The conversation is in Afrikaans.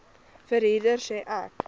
verhuurder sê ek